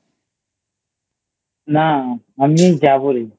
না আমি এই যাবো রে